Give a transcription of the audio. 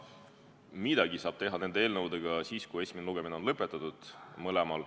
Midagi saab teha nende eelnõudega siis, kui mõlema esimene lugemine on lõpetatud.